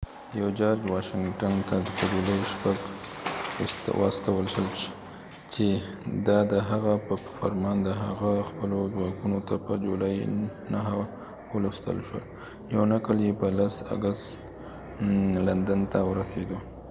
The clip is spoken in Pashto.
یو جارج واشنګټن ته په جولای 6 واستول شو چې دا د هغه په فرمان د هغه خپلو ځواکونو ته په جولای 9 ولوستل شو یو نقل يې په 10 اګست لندن ته ورسېدو